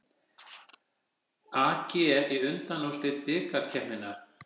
AG í undanúrslit bikarkeppninnar